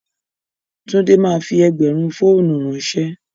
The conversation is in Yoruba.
Túndé máa fi ẹgbẹ̀rún fọ́ọ́nù ránṣẹ́.